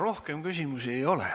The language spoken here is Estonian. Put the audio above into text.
Rohkem küsimusi ei ole.